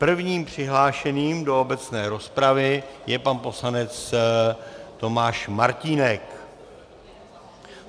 Prvním přihlášeným do obecné rozpravy je pan poslanec Tomáš Martínek.